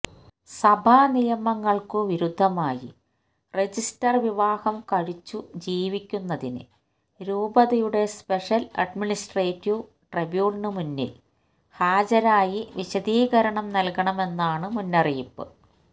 സഭാനിയമങ്ങൾക്കു വിരുദ്ധമായി രജിസ്റ്റർ വിവാഹം കഴിച്ചു ജീവിക്കുന്നതിന് രൂപതയുടെ സ്പെഷ്യൽ അഡ്മിനിസ്ട്രേറ്റീവ് ട്രിബ്യൂണലിനുമുന്നിൽ ഹാജരായി വിശദീകരണം നൽകണമെന്നാണു മുന്നറിയിപ്പ്